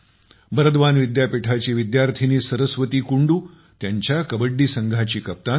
बरद्वान विद्यापीठाची विद्यार्थिनी सरस्वती कुंडू त्यांच्या कबड्डी संघाची कप्तान आहे